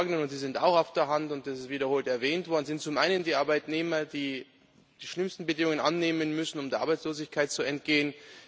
Die Leidtragenden und das liegt auch auf der Hand und ist wiederholt erwähnt worden sind zum einen die Arbeitnehmer, die die schlimmsten Bedingungen annehmen müssen, um der Arbeitslosigkeit zu entgehen.